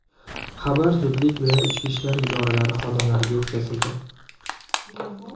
Xabar zudlik bilan ichki ishlar idoralari xodimlariga yetkazildi.